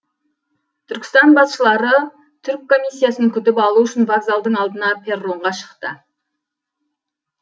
түркістан басшылары түрк комиссиясын күтіп алу үшін вокзалдың алдына перронға шықты